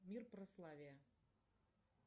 мир прославия